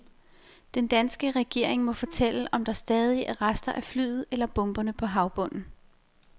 Den danske regering må fortælle, om der stadig er rester af flyet eller bomberne på havbunden.